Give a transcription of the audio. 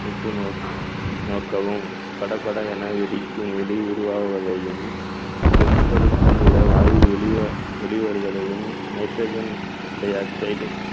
உற்று நோக்~ நோக்கவும் படபடவென வெடிக்கும் ஒளி உருவாவதையும் செம்பழுப்பு நிற வாயு வெளிவரு~ வெளிவருவதையும் nitrogen dioxide